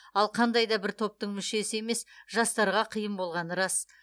ал қандай да бір топтың мүшесі емес жастарға қиын болғаны рас